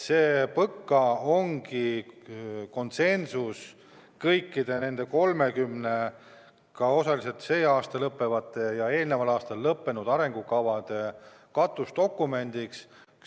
See PõKa ongi konsensus, kõikide nende 30 ja osaliselt sel aastal lõppevate ja osaliselt eelmisel aastal lõppenud arengukavade katusdokument.